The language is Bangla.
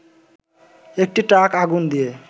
একটি ট্রাক আগুন দিয়ে